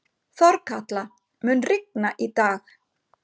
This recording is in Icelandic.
Þorkatla, mun rigna í dag?